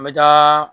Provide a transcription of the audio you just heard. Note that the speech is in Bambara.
An bɛ taa